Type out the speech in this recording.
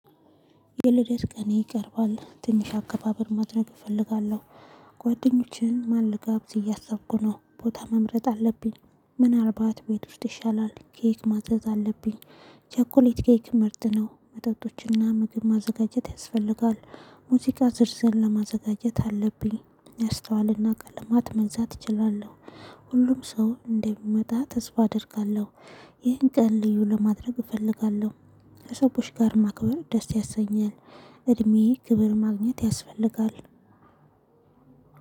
የልደት ቀን ይቀርባል። ትንሽ አከባበር ማድረግ እፈልጋለሁ። ጓደኞችን ማን ልጋብዝ እያሰብኩ ነው። ቦታ መምረጥ አለብኝ። ምናልባት ቤት ውስጥ ይሻላል። ኬክ ማዘዝ አለብኝ። ቸኮሌት፣ ኬክ ምርት ነው። መጠጦችና ምግብ ማዘጋጀት ያስፈልጋል። ሙዚቃ ዝርዝር ለማዘጋጀት አለብኝ። ያስተዋልና ቀለማት መንዛት እችላለሁ ሁሉም ሰው እንደሚመጣ ተስፋ አደርጋለሁ። ይህን ቀን ልዩ ለማድረግ እፈልጋለሁ ከሰዎች ጋር ማክበር ደስ ያሰኛል። እድሜዬ ክብር ማግኘት ያስፈልጋል።